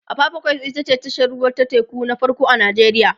apapa quays ita ce tashar ruwa ta teku na farko a nijeriya